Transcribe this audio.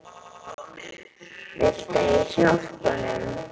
Viltu að ég hjálpi honum?